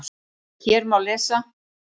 Hér má lesa